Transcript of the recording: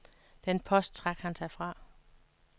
Den post trak han sig fra.